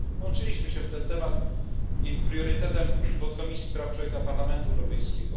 Włączyliśmy się w ten temat będący priorytetem Podkomisji Praw Człowieka Parlamentu Europejskiego.